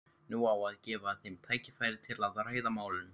Nú á að gefa þeim tækifæri til að ræða málin.